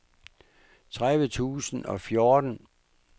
tredive tusind og fjorten